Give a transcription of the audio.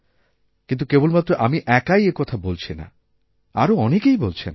কিন্তুকেবলমাত্র আমি একাই একথা বলছি না আরও অনেকেই বলছেন